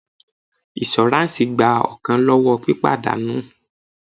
Iṣuransi gba ọkan lọwọ́ pípadà nù.